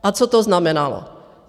A co to znamenalo?